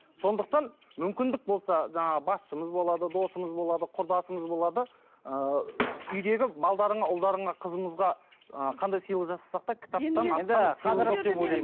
сондықтан мүмкіндік болса жаңағы басшымыз болады досымыз болады құрдасымыз болады ыыы үйдегі ұлдарыңа қызымызға ы қандай сыйлық жасасақ та